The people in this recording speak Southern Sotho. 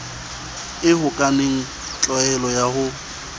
e hokahaneng tlwaelo ya ho